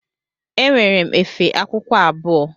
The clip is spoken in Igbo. Enwere efe akwụkwọ abụọ.